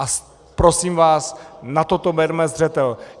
A prosím vás, na toto berme zřetel.